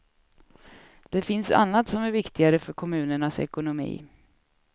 Det finns annat som är viktigare för kommunernas ekonomi.